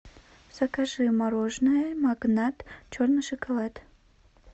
закажи мороженое магнат черный шоколад